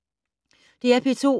DR P2